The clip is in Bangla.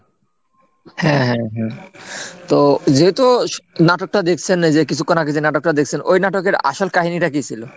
হ্যাঁ হ্যাঁ, তো যেহেতু নাটকটা দেখছেন এই যে কিছুক্ষণ আগে যে নাটকটা দেখছেন ওই নাটকের আসল কাহিনীটা কি ছিলো?